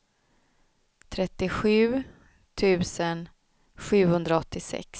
trettiosju tusen sjuhundraåttiosex